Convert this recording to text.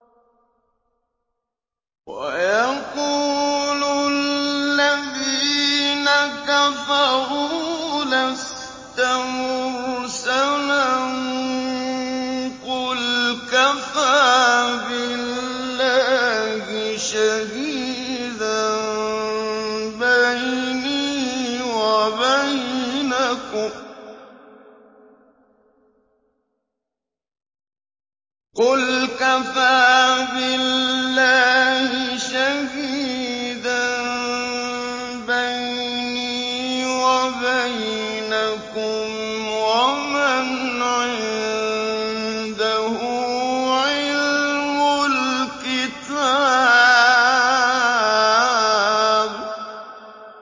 وَيَقُولُ الَّذِينَ كَفَرُوا لَسْتَ مُرْسَلًا ۚ قُلْ كَفَىٰ بِاللَّهِ شَهِيدًا بَيْنِي وَبَيْنَكُمْ وَمَنْ عِندَهُ عِلْمُ الْكِتَابِ